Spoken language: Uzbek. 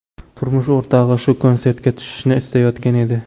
Turmush o‘rtog‘i shu konsertga tushishni istayotgan edi.